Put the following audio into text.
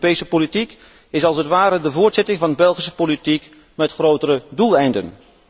Europese politiek is als het ware de voortzetting van Belgische politiek met grotere doeleinden.